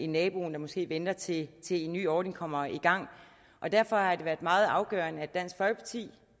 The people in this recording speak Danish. naboen der måske venter til en ny ordning kommer i gang derfor har det været meget afgørende at dansk folkeparti